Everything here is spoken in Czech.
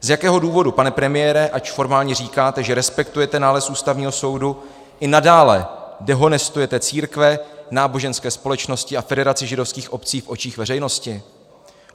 Z jakého důvodu, pane premiére, ač formálně říkáte, že respektujete nález Ústavního soudu, i nadále dehonestujete církve, náboženské společnosti a Federaci židovských obcí v očích veřejnosti?